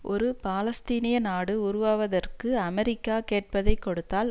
ஒரு பாலஸ்தீனிய நாடு உருவாவதற்கு அமெரிக்கா கேட்பதைக் கொடுத்தால்